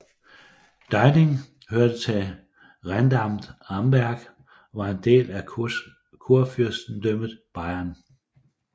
Deining hørte til Rentamt Amberg og var en del af Kurfyrstedømmet Bayern